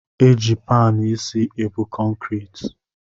Eji panụ isi ebu kọnkriti